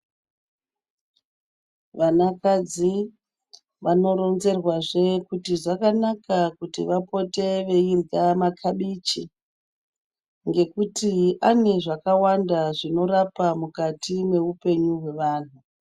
Vanakadzi vanoronzerwazve kuti zvakanaka kuti vapote veirya makabichi ngekuti ane zvakawanda zvinorapa mukati mweupenyu hwevantu.